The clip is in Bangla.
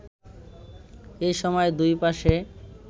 এ সময় দুই পাশে